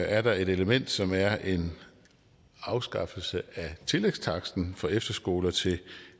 er der et element som er en afskaffelse af tillægstaksten for efterskoler til